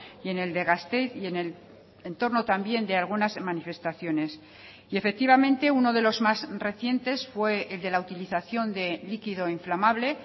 y en el de gasteiz y en el entorno también de algunas manifestaciones y efectivamente uno de los más recientes fue el de la utilización de líquido inflamable